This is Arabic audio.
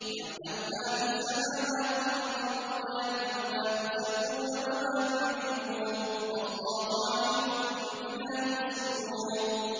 يَعْلَمُ مَا فِي السَّمَاوَاتِ وَالْأَرْضِ وَيَعْلَمُ مَا تُسِرُّونَ وَمَا تُعْلِنُونَ ۚ وَاللَّهُ عَلِيمٌ بِذَاتِ الصُّدُورِ